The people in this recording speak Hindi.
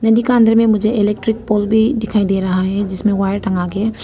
नदी के अंधेरे में मुझे इलेक्ट्रिक पोल भी दिखाई दे रहा है जिसमें वायर टांगा--